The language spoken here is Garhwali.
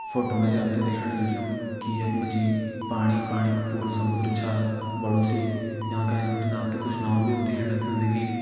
फोटो मा जी आप त दिखेण लग्युं की यख मा जी पाणी पाणी कू पूरु समुद्र छा बड़ु सी यांका एंच बिटिन कुछ नाव भी होली आप त दिखेण का मिलण की।